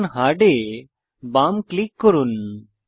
এখন হার্ড এ বাম ক্লিক করুন